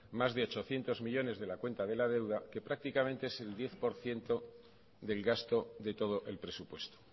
más de ochocientos millónes de la cuenta de la deuda que prácticamente es el diez por ciento del gasto de todo el presupuesto